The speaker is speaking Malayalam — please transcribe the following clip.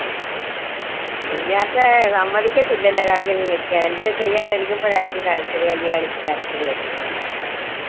സമ്മതിച്ചിട്ടില്ല അല്ലെ curry ഒന്നും വെക്കാൻ എന്തേലും ചെയ്യാൻ ഒരുങ്ങുമ്പോഴായിരിക്കും കരച്ചിൽ കല്യാണിക്ക് കരച്ചില് വരുന്നേ